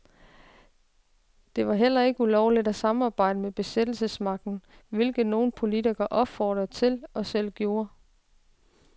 Det var heller ikke ulovligt at samarbejde med besættelsesmagten, hvilket nogen politikere opfordrede til og selv gjorde.